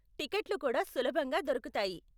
టికెట్లు కూడా సులభంగా దొరుకుతాయి.